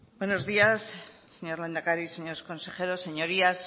buenos días señor lehendakari señores consejeros señorías